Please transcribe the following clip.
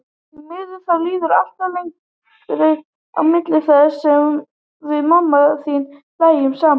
Því miður, þá líður alltaf lengra á milli þess sem við mamma þín hlæjum saman.